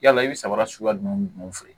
Yala i bɛ samara suguya ninnu feere